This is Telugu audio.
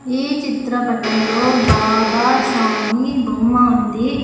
ఈ చిత్రపటంలో బాబా స్వామి బొమ్మ ఉంది.